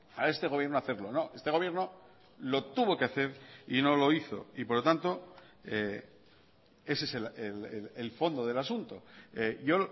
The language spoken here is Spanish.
a este gobierno hacerlo este gobierno lo tuvo que hacer y no lo hizo y por lo tanto ese es el fondo del asunto yo